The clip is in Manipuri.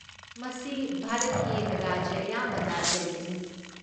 ꯃꯁꯤ ꯚꯥꯔꯠꯀꯤ ꯔꯥꯖ꯭ꯌ ꯑꯌꯥꯝꯕꯗ ꯂꯩꯒꯅꯤ꯫